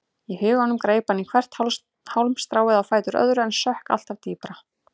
Í huganum greip hann í hvert hálmstráið á fætur öðru en sökk alltaf dýpra.